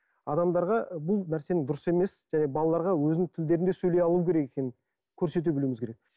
адамдарға бұл нәрсені дұрыс емес және балаларға өзінің тілдерінде сөйлей алу керек екенін көрсете білуіміз керек